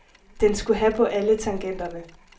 Den skulle have på alle tangenterne.